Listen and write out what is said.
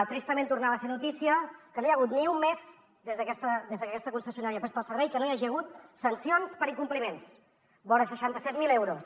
tristament tornava a ser notícia que no hi ha hagut ni un mes des de que aquesta concessionària presta el servei que no hi hagi hagut sancions per incompliments vora seixanta set mil euros